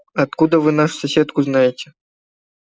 а откуда вы нашу соседку знаете